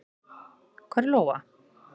Hvar er Lóa?